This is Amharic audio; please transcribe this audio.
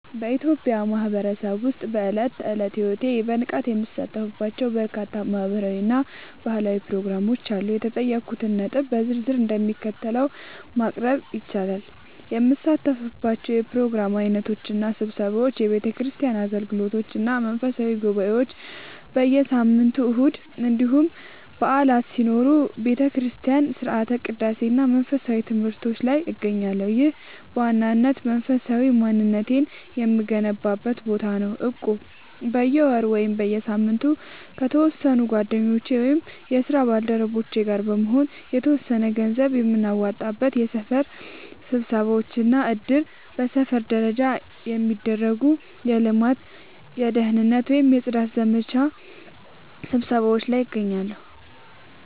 በኢትዮጵያ ማህበረሰብ ውስጥ በዕለት ተዕለት ሕይወቴ በንቃት የምሳተፍባቸው በርካታ ማህበራዊ እና ባህላዊ ፕሮግራሞች አሉ። የተጠየቁትን ነጥቦች በዝርዝር እንደሚከተለው ማቅረብ ይቻላል፦ የምሳተፍባቸው የፕሮግራም ዓይነቶች እና ስብሰባዎች፦ የቤተክርስቲያን አገልግሎቶች እና መንፈሳዊ ጉባኤዎች፦ በየሳምንቱ እሁድ እንዲሁም በዓላት ሲኖሩ በቤተክርስቲያን ሥርዓተ ቅዳሴ እና መንፈሳዊ ትምህርቶች ላይ እገኛለሁ። ይህ በዋናነት መንፈሳዊ ማንነቴን የምገነባበት ቦታ ነው። እቁብ፦ በየወሩ ወይም በየሳምንቱ ከተወሰኑ ጓደኞቼ ወይም የስራ ባልደረቦቼ ጋር በመሆን የተወሰነ ገንዘብ የምናዋጣበት። የሰፈር ስብሰባዎች እና እድር፦ በሰፈር ደረጃ የሚደረጉ የልማት፣ የደህንነት ወይም የጽዳት ዘመቻ ስብሰባዎች ላይ እገኛለሁ።